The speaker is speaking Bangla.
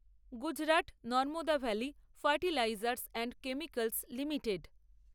Gujarat Narmada valley fertilizers and chemicals limited